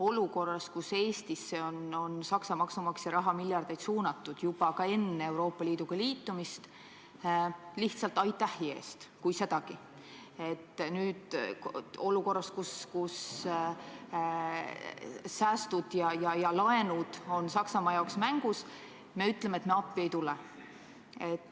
Olukorras, kus Eestisse on Saksa maksumaksja raha suunatud miljardeid – juba ka enne Euroopa Liiduga liitumist ja lihtsalt aitähi eest, kui sedagi – ning kus säästud ja laenud on Saksamaa jaoks mängus, me ütleme, et me appi ei tule.